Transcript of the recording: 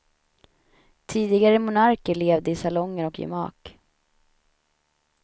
Tidigare monarker levde i salonger och gemak.